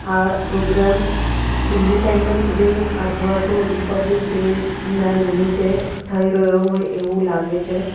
આ programme independence day અથવા તો રિપબ્લિક ડે ના નિમિત્તે થઈ રહ્યો હોય એવું લાગે છે.